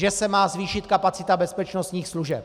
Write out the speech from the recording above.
Že se má zvýšit kapacita bezpečnostních služeb.